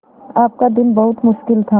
आपका दिन बहुत मुश्किल था